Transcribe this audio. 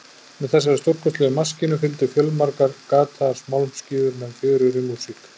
Með þessari stórkostlegu maskínu fylgdu fjölmargar gataðar málmskífur með fjörugri músík.